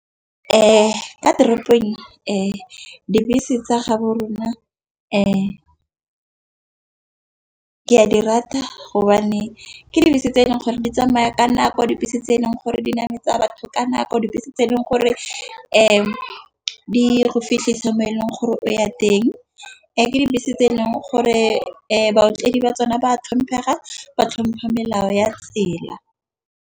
Kwa toropong dibese tsa ga bo rona . Ke a di rata gobane ke dibese tse eleng gore di tsamaya ka nako. Dibese tse eleng gore di nametsa batho ka nako, dibese tse e leng gore di go fitlhisa mo e leng gore o ya teng. Ke dibese tse eleng gore baotledi ba tsone ba thomphega ba tlhompha melao ya tsela.